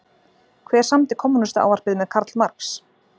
Hver samdi Kommúnistaávarpið með Karl Marx?